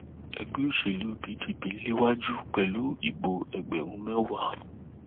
ẹgbẹ òṣèlú pdp ń léwájú pẹlú ìbò ẹgbẹrún mẹwàá